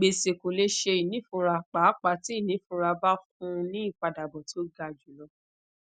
gbese ko le ṣe inifura paapaa ti inifura ba fun ni ipadabọ ti o ga julọ